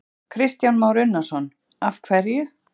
Kristján Már Unnarsson: Af hverju?